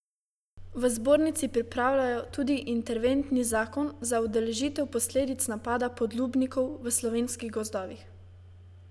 V zbornici pripravljajo tudi interventni zakon za ublažitev posledic napada podlubnikov v slovenskih gozdovih.